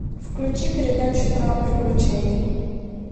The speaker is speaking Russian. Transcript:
включи передачу про приключения